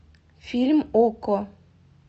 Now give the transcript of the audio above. фильм окко